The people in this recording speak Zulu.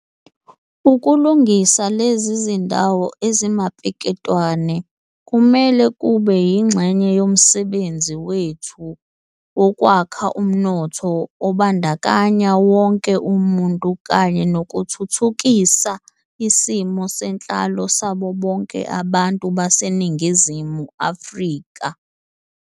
Ukulungisa lezi zindawo ezimapeketwane kumele kube yingxenye yomsebenzi wethu wokwakha umnotho obandakanya wonke umuntu kanye nokuthuthukisa isimo senhlalo sabo bonke abantu baseNingizimu Afrika.